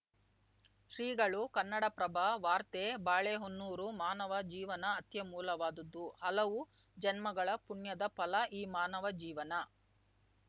ಶ್ರೀಗಳು ಕನ್ನಡಪ್ರಭ ವಾರ್ತೆ ಬಾಳೆಹೊನ್ನೂರು ಮಾನವ ಜೀವನ ಅತ್ಯಮೂಲವಾದುದು ಹಲವು ಜನ್ಮಗಳ ಪುಣ್ಯದ ಫಲ ಈ ಮಾನವ ಜೀವನ